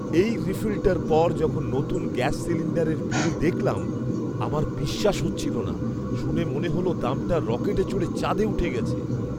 এই রিফিলটার পর যখন নতুন গ্যাস সিলিণ্ডারের বিল দেখলাম, আমার বিশ্বাস হচ্ছিল না। শুনে মনে হল দামটা রকেটে চড়ে চাঁদে উঠে গেছে!